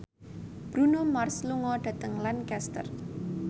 Bruno Mars lunga dhateng Lancaster